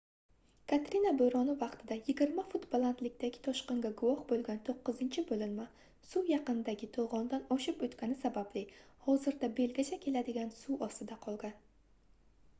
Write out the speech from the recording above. katrina boʻroni vaqtida 20 fut balandlikdagi toshqinga guvoh boʻlgan toʻqqizinchi boʻlinma suv yaqindagi toʻgʻondan oshib oʻtgani sababli hozirda belgacha keladigan suv ostida qolgan